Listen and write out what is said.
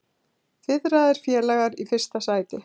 Fiðraðir félagar í fyrsta sæti